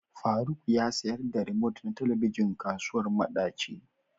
Faruk ya sayar da remote na Telebijin kasuwar madaci.